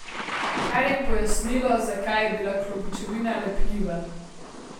Kar je pojasnilo, zakaj je bila klobučevina lepljiva.